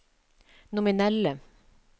nominelle